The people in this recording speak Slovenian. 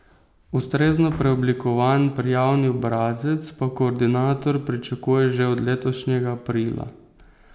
Ustrezno preoblikovan prijavni obrazec pa koordinator pričakuje že od letošnjega aprila.